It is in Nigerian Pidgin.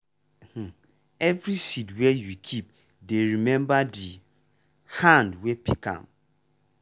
um every seed wey you keep dey remember the hand wey pick am.